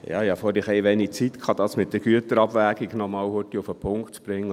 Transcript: Ich hatte vorhin ein bisschen zu wenig Zeit, um das mit der Güterabwägung kurz auf den Punkt zu bringen.